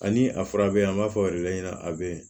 Ani a fura bɛ yen an b'a fɔ o de ɲɛna a bɛ